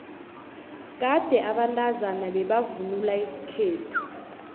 kade abantazana bebavvnula isikhethu